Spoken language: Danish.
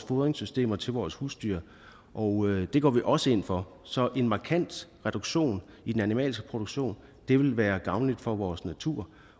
fodringssystemerne til vores husdyr og det går vi også ind for så en markant reduktion i den animalske produktion vil være gavnligt for vores natur